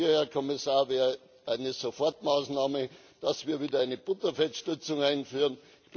Hier, Herr Kommissar, wäre eine Sofortmaßnahme, dass wir wieder eine Butterfettstützung einführen.